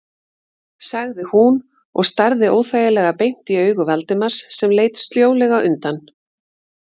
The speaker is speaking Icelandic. sagði hún og starði óþægilega beint í augu Valdimars sem leit sljólega undan.